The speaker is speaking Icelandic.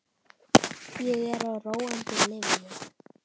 Ég er á róandi lyfjum.